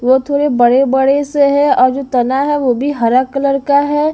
वो थोड़े बड़े-बड़े से हैं और जो तना है वो भी हरा कलर का है।